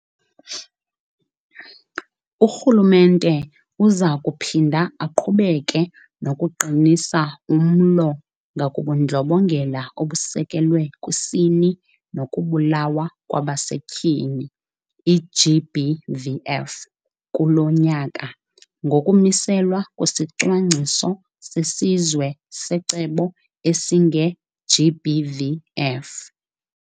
Urhulumente uza kuphinda aqhubeke nokuqinisa umlo ngakubuNdlobongela obusekelwe kwiSini nokuBulawa kwabaseTyini, i-GBVF, kulo nyaka, ngokumiselwa kwesiCwangciso sesiZwe seCebo esingeGBVF.